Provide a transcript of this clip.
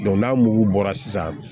n'a mugu bɔra sisan